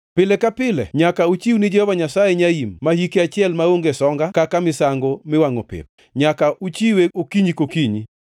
“ ‘Pile ka pile nyaka uchiw ni Jehova Nyasaye nyaim ma hike achiel maonge songa kaka misango miwangʼo pep; nyaka uchiwe okinyi kokinyi.